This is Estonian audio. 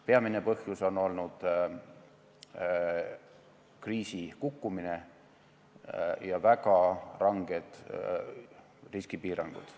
Peamine põhjus on olnud kriisi kukkumine ja väga ranged riskipiirangud.